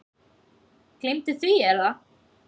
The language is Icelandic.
Gleymdu því Er það?